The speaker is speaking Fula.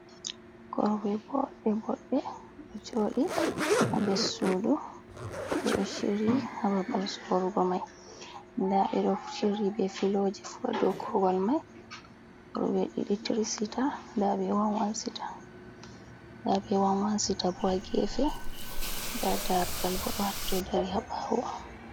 Korwal boɗɗe boɗɗe ɗo joɗi ha nder sudu, ɓe ɗo shiryi ha babal sorugo mai nda ɓe ɗo shiryi be filoji fu ha dow korwal mai korɓe ɗiɗi tri sita, nda ɓe wan wan sita bo ha gefe, nda darugal bo ɗo hatto dari ha ɓawo.